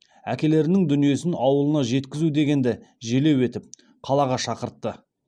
әкелерінің дүниесін ауылына жеткізу дегенді желеу етіп қалаға шақыртты